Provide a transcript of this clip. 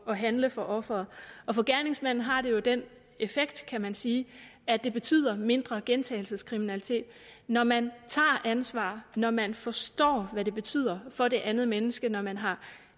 at handle for offeret og for gerningsmanden har det jo den effekt kan man sige at det betyder mindre gentagelseskriminalitet når man tager ansvar når man forstår hvad det betyder for det andet menneske når man har